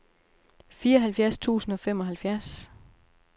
fireoghalvfjerds tusind og femoghalvfjerds